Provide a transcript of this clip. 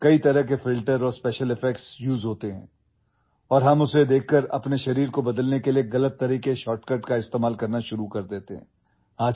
کئی طرح کے فلٹرز اور اسپیشل ایفیکٹس استعمال کیے جاتے ہیں اور ان کو دیکھنے کے بعد ہم اپنے جسم کو بدلنے کے لیے غلط شارٹ کٹ استعمال کرنے لگتے ہیں